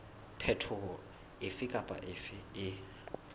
phetoho efe kapa efe e